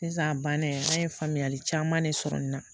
Sisan a banna an ye faamuyali caman de sɔrɔ n na